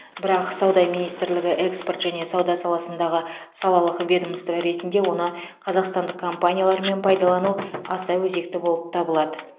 бірақ сауда министрлігі экспорт және сауда саласындағы салалық ведомство ретінде оны қазақстандық компаниялармен пайдалану аса өзекті болып табылады